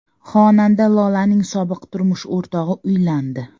Xonanda Lolaning sobiq turmush o‘rtog‘i uylandi.